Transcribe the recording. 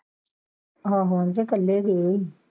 ਆਹੋ ਤੇ ਕੱਲੇ ਗਏ ਸੀ।